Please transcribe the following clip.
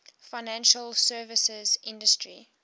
financial services industry